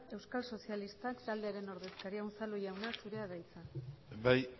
euskal sozialistak taldearen ordezkaria unzalu jaunak zurea da hitza bai